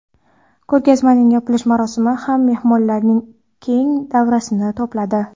Ko‘rgazmaning yopilish marosimi ham mehmonlarning keng davrasini to‘pladi.